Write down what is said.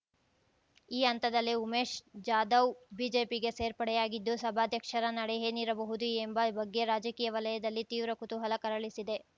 ಈ ಹಂತದಲ್ಲೇ ಉಮೇಶ್ ಜಾಧವ್ ಬಿಜೆಪಿಗೆ ಸೇರ್ಪಡೆಯಾಗಿದ್ದು ಸಭಾಧ್ಯಕ್ಷರ ನಡೆ ಏನಿರಬಹುದು ಎಂಬ ಬಗ್ಗೆ ರಾಜಕೀಯ ವಲಯದಲ್ಲಿ ತೀವ್ರ ಕುತೂಹಲ ಕೆರಳಿಸಿದೆ